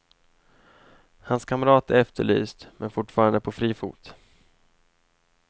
Hans kamrat är efterlyst, men fortfarande på fri fot.